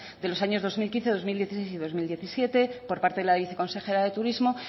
de los años dos mil quince dos mil dieciséis y dos mil diecisiete por parte del a viceconsejera del turismo